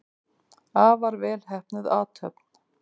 Afar vel heppnuð athöfn.